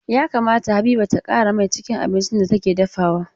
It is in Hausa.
Ya kamata Habiba ta ƙara mai cikin abincin da take dafawa.